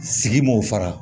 Sigi m'o fara